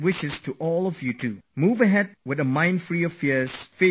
Free from all tension of success and failure, move ahead with a free mind